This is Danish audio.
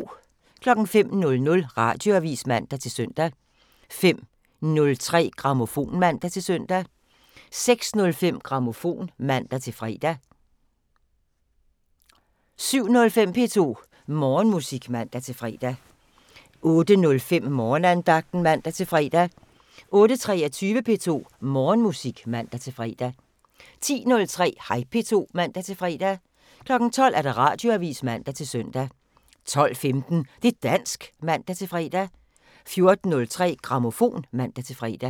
05:00: Radioavisen (man-søn) 05:03: Grammofon (man-søn) 06:05: Grammofon (man-fre) 07:05: P2 Morgenmusik (man-fre) 08:05: Morgenandagten (man-fre) 08:23: P2 Morgenmusik (man-fre) 10:03: Hej P2 (man-fre) 12:00: Radioavisen (man-søn) 12:15: Det' dansk (man-fre) 14:03: Grammofon (man-fre)